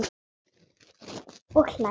Og hlær.